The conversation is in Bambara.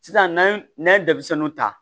Sisan n'an ye denmisɛnninw ta